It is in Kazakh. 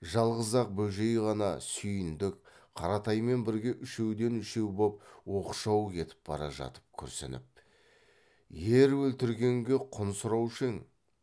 жалғыз ақ бөжей ғана сүйіндік қаратаймен бірге үшеуден үшеу боп оқшау кетіп бара жатып күрсініп ер өлтіргенге құн сұраушы ең